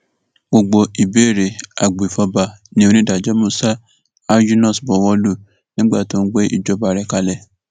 gbogbo ìbéèrè agbèfọba ni onídàájọ musa alyunus buwọ lù nígbà tó ń gbé ìpinnu rẹ kalẹ